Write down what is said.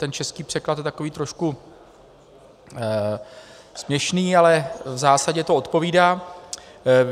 Ten český překlad je takový trošku směšný, ale v zásadě to odpovídá.